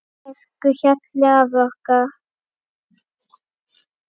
Elsku Hjalli afi okkar.